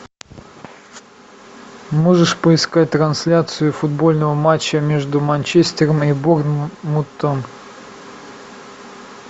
можешь поискать трансляцию футбольного матча между манчестером и борнмутом